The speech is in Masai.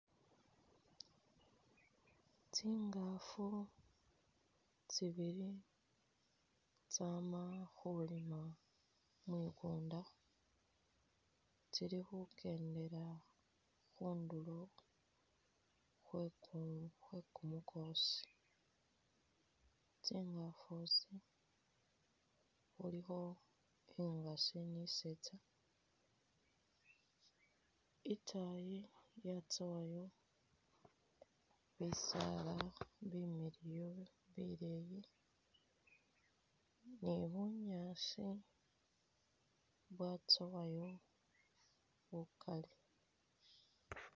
Tsingafu tsibili tsama khulima mwikumda tsili khukendela khunduro khwekumukhosi , tsingafu itsi khulikho ingasi ni isetsa , itayi yatsowayo bisala bimiliyu bileyi ni bunyaasi bwatsowayo bukali.